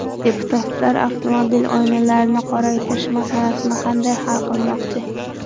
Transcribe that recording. Deputatlar avtomobil oynalarini qoraytirish masalasini qanday hal qilmoqchi?.